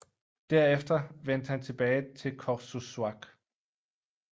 Derefter vendte han tilbage til Qorsussuaq